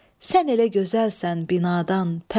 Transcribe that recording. Sən elə gözəlsən binadan pəri.